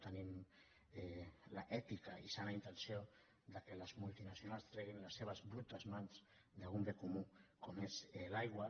tenim l’èpica i sana intenció que les multinacionals treguin les seves brutes mans d’un bé comú com és l’aigua